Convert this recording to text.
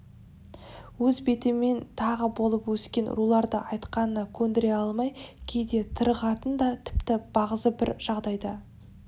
өз бетімен тағы болып өскен руларды айтқанына көндіре алмай кейде тарығатын да тіпті бағзы бір жағдайда